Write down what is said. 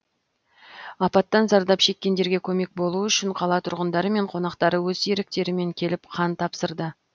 апаттан зардап шеккендерге көмек болу үшін қала тұрғындары мен қонақтары өз еріктерімен келіп қан тапсырды